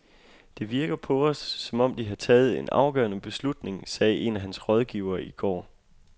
Det virker på os, som om de har taget en afgørende beslutning, sagde en af hans rådgivere i går.